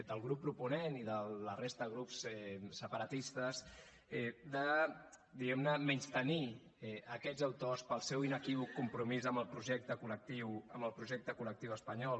del grup proponent i de la resta de grups separatistes de diguem ne menystenir aquests autors pel seu inequívoc compromís amb el projecte col·lectiu amb el projecte col·lectiu espanyol